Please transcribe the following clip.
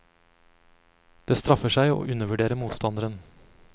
Det straffer seg å undervurdere motstanderen.